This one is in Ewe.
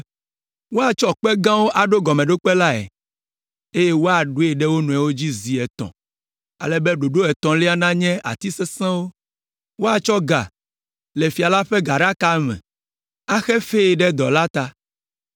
Woatsɔ kpe gãwo aɖo gɔmeɖokpe lae, eye woaɖoe ɖe wo nɔewo dzi zi etɔ̃, ale be ɖoɖo etɔ̃lia nanye ati sesẽwo. Woatsɔ ga le fia la ƒe gaɖaka me axe fee ɖe dɔ la ta.